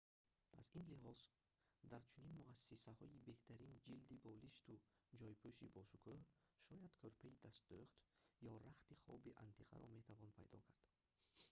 аз ин лиҳоз дар чунин муассисаҳои беҳтарин ҷилди болишту ҷойпӯши бошукӯҳ шояд кӯрпаи дастдӯхт ё рахти хоби антиқаро метавон пайдо кард